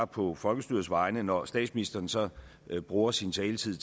på folkestyrets vegne når statsministeren så bruger sin taletid